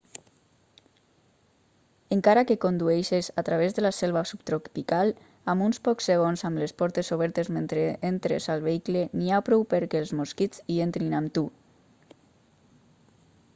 encara que condueixis a través de la selva subtropical amb uns pocs segons amb les portes obertes mentre entres al vehicle n'hi ha prou perquè els mosquits hi entrin amb tu